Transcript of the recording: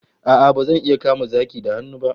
A'a, bazan iya kama zaki da hannu ba